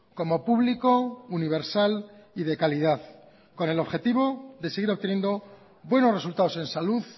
como público universal y de calidad con el objetivo de seguir obteniendo buenos resultados en salud